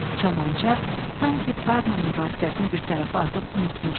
Kamança sanki tarla mübahisəsini bir tərəfə atıb unutmuşdu.